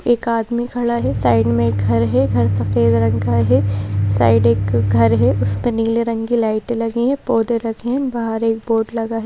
एक आदमी खड़ा है साइड में एक घर है घर सफेद रंग का है साइड एक घर है उसमें नीले रंग की लाइटे लगी हैं पौधे लगे हैं बाहर एक बोर्ड लगा है।